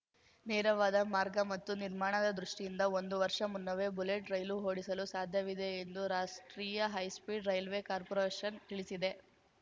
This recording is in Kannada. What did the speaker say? ನೇರವಾದ ಮಾರ್ಗ ಮತ್ತು ನಿರ್ಮಾಣದ ದೃಷ್ಟಿಯಿಂದ ಒಂದು ವರ್ಷ ಮುನ್ನವೇ ಬುಲೆಟ್‌ ರೈಲು ಓಡಿಸಲು ಸಾಧ್ಯವಿದೆ ಎಂದು ರಾಷ್ಟ್ರೀಯ ಹೈಸ್ಪೀಡ್‌ ರೈಲ್ವೆ ಕಾರ್ಪೊರೇಷನ್‌ ತಿಳಿಸಿದೆ